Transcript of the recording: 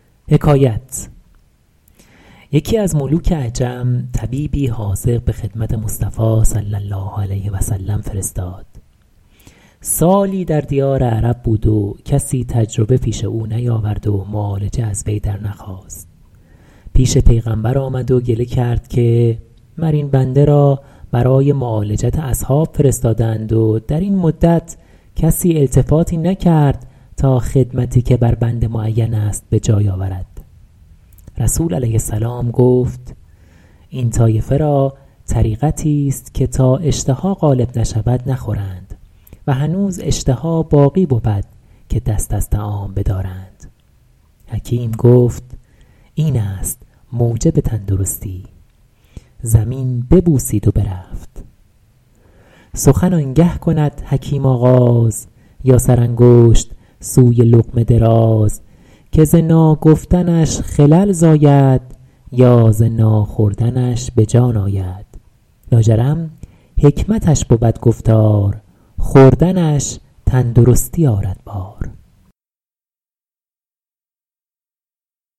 یکی از ملوک عجم طبیبی حاذق به خدمت مصطفی صلی الله علیه و سلم فرستاد سالی در دیار عرب بود و کسی تجربه پیش او نیاورد و معالجه از وی در نخواست پیش پیغمبر آمد و گله کرد که مر این بنده را برای معالجت اصحاب فرستاده اند و در این مدت کسی التفاتی نکرد تا خدمتی که بر بنده معین است به جای آورد رسول علیه السلام گفت این طایفه را طریقتی است که تا اشتها غالب نشود نخورند و هنوز اشتها باقی بود که دست از طعام بدارند حکیم گفت این است موجب تندرستی زمین ببوسید و برفت سخن آن گه کند حکیم آغاز یا سرانگشت سوی لقمه دراز که ز ناگفتنش خلل زاید یا ز ناخوردنش به جان آید لا جرم حکمتش بود گفتار خوردنش تندرستی آرد بار